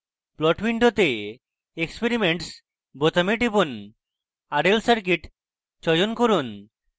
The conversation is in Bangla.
plot window experiments বোতামে টিপুন rl circuit চয়ন করুন